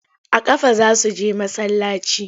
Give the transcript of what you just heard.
A ƙafa za su je masallaci.